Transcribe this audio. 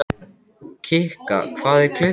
Kikka, hvað er klukkan?